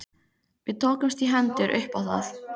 Við tókumst í hendur upp á það.